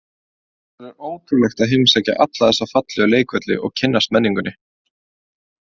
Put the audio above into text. Það verður ótrúlegt að heimsækja alla þessa fallegu leikvelli og kynnast menningunni.